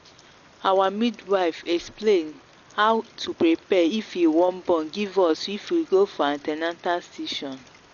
our midwife explain how to prepare if ee wan born give us if we go for an ten atal session.